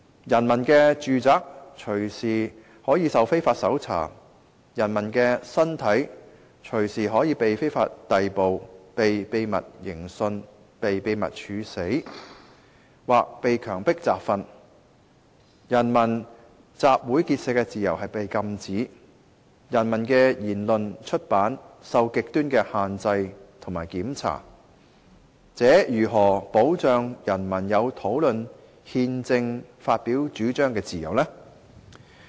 人民的住宅隨時可受非法搜查，人民的身體隨時可被非法逮捕，被秘密刑訊，被秘密處死，或被強迫集訓，人民集會結社的自由是被禁止，人民的言論出版受着極端的限制和檢查，這如何能保障人民有討論憲政發表主張的自由呢？